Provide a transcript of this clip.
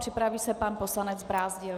Připraví se pan poslanec Brázdil.